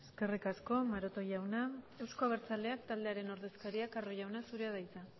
eskerrik asko maroto jauna euzko abertzaleak taldearen ordezkaria carro jauna zurea da hitza